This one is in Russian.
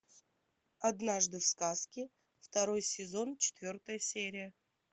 однажды в сказке второй сезон четвертая серия